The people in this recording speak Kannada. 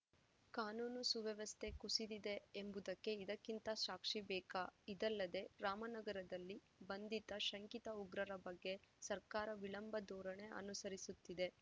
ಕಾನೂನು ಸುವ್ಯವಸ್ಥೆ ಕುಸಿದಿದೆ ಎಂಬುದಕ್ಕೆ ಇದಕ್ಕಿಂತ ಸಾಕ್ಷಿ ಬೇಕಾ ಇದಲ್ಲದೇ ರಾಮನಗರದಲ್ಲಿ ಬಂಧಿತ ಶಂಕಿತ ಉಗ್ರರ ಬಗ್ಗೆ ಸರ್ಕಾರ ವಿಳಂಬ ಧೋರಣೆ ಅನುಸರಿಸುತ್ತಿದೆ